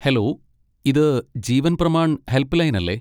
Hello! ഇത് Jeevan Pramaan help line അല്ലേ?